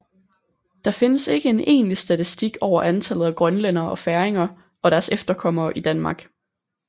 Der findes ikke en egentlig statistik over antallet af grønlændere og færinger og deres efterkommere i Danmark